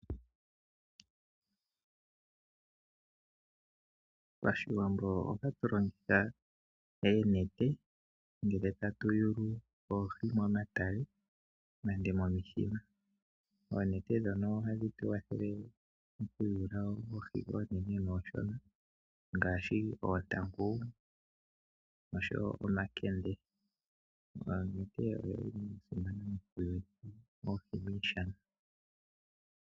Pashiwambo otatu longitha eenete ngele tatu yulu oohi momatale nande momithima. Oonete ndhono ohadhi tu wathele okuyula oohi oonene noonshona ngaashi oontangu noshowo omakende. Onete oyili ya simana mokuyula oohi mooshana.